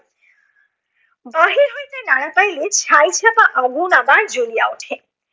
বাহির হইতে নাড়া পাইলে ছাই চাপা আগুন আবার জ্বলিয়া ওঠে।